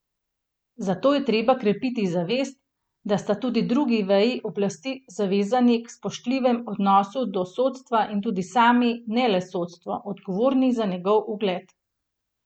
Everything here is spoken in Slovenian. Zato je treba krepiti zavest, da sta tudi drugi veji oblasti zavezani k spoštljivem odnosu do sodstva in tudi sami, ne le sodstvo, odgovorni za njegov ugled.